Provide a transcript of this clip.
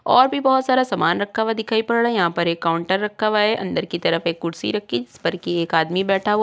और भी बहोत सारा सामान रखा हुआ दिखाई पड़ रहा है। यहां पर एक काउन्टर रखा हुआ है। अंदर की तरफ भी कुर्सी रखी जिस पर एक आदमी बैठा हुआ है।